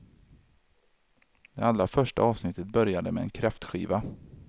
Det allra första avsnittet började med en kräftskiva.